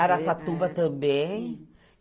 Araçatuba também.